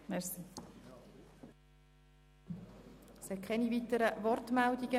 Es gibt keine weiteren Wortmeldungen.